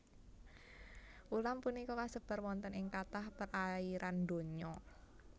Ulam punika kasebar wonten ing kathah perairan donya